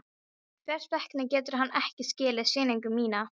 Hvers vegna getur hann ekki skilið sýningu mína?